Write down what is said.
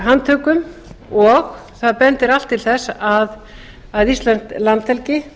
handtökum og það bendir allt til þess að íslensk landhelgi